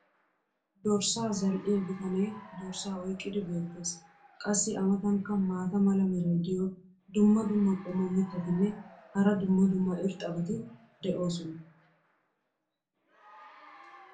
Dorssaa zal'iya bitanee dorssaa oyqqidi beetees. qassi a matankka maata mala meray diyo dumma dumma qommo mitattinne hara dumma dumma irxxabati de'oosona.